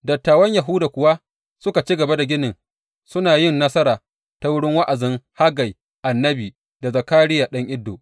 Dattawan Yahuda kuwa suka ci gaba da ginin suna yin nasara ta wurin wa’azin Haggai annabi da Zakariya ɗan Iddo.